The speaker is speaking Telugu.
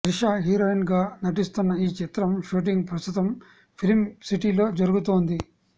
త్రిష హీరోయిన్గా నటిస్తున్న ఈ చిత్రం షూటింగ్ ప్రస్తుతం ఫిలింసిటీలో జరుగుతోంది